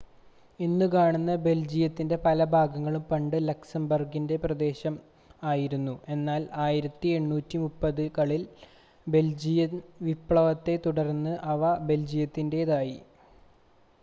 ഇന്ന് കാണുന്ന ബെൽജിയത്തിൻ്റെ പല ഭാഗങ്ങളും പണ്ട് ലക്സംബർഗിൻ്റെ പ്രദേശങ്ങൾ ആയിരുന്നു എന്നാൽ 1830 കളിലെ ബെൽജിയൻ വിപ്ലവത്തെ തുടർന്ന് അവ ബെൽജിയത്തിൻ്റേതായി